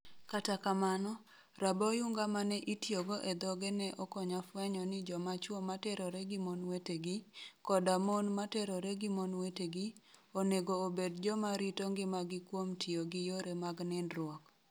Kata kamano, raboyunga ma ne itiyogo e dhoge ne okonya fwenyo ni joma chwo ma terore gi mon wetegi, koda mon ma terore gi mon wetegi, onego obed joma rito ngimagi kuom tiyo gi yore mag nindruok' '.